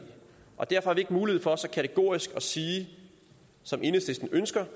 og derfor har vi ikke mulighed for så kategorisk som enhedslisten ønsker